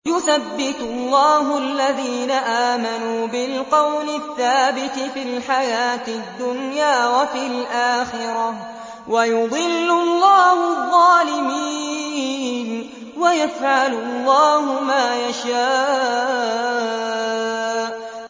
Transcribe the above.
يُثَبِّتُ اللَّهُ الَّذِينَ آمَنُوا بِالْقَوْلِ الثَّابِتِ فِي الْحَيَاةِ الدُّنْيَا وَفِي الْآخِرَةِ ۖ وَيُضِلُّ اللَّهُ الظَّالِمِينَ ۚ وَيَفْعَلُ اللَّهُ مَا يَشَاءُ